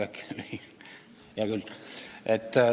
Aga hea küll.